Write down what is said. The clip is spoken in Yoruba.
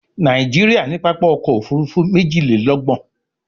Nàìjíríà ní pápá ọkọ̀-òfurufú méjìlélọ́gbọ̀n